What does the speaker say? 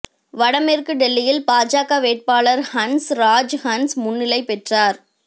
வடமேற்கு டெல்லியில் பாஜக வேட்பாளர் ஹன்ஸ் ராஜ் ஹன்ஸ் முன்னிலை பெற்றார்